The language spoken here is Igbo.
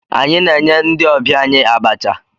Anyị na-enye ndị ọbịa anyị abacha.